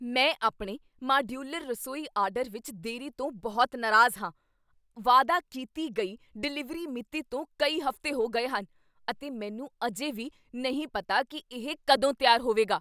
ਮੈਂ ਆਪਣੇ ਮਾਡਿਊਲਰ ਰਸੋਈ ਆਰਡਰ ਵਿੱਚ ਦੇਰੀ ਤੋਂ ਬਹੁਤ ਨਾਰਾਜ਼ ਹਾਂ। ਵਾਅਦਾ ਕੀਤੀ ਗਈ ਡਿਲੀਵਰੀ ਮਿਤੀ ਤੋਂ ਕਈ ਹਫ਼ਤੇ ਹੋ ਗਏ ਹਨ, ਅਤੇ ਮੈਨੂੰ ਅਜੇ ਵੀ ਨਹੀਂ ਪਤਾ ਕੀ ਇਹ ਕਦੋਂ ਤਿਆਰ ਹੋਵੇਗਾ।